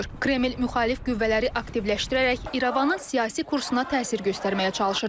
Kreml müxalif qüvvələri aktivləşdirərək İrəvanın siyasi kursuna təsir göstərməyə çalışır.